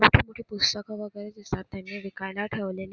मोठी मोठी पुस्तके वगैरे दिसतात त्यांनी विकायला ठेवलेली.